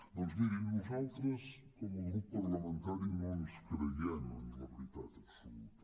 doncs mirin nosaltres com a grup parlamentari no ens creiem amb la veritat absoluta